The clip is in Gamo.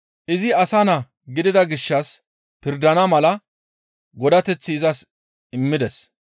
Izi asa naa gidida gishshas pirdana mala godateth izas immides.